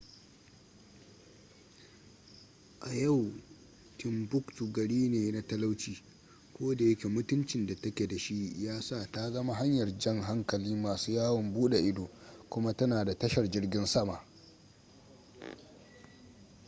a yau timbuktu gari ne na talauci kodayake mutuncin da take da shi ya sa ta zama hanyar jan hankalin masu yawon bude ido kuma tana da tashar jirgin sama